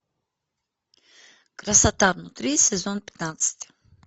красота внутри сезон пятнадцать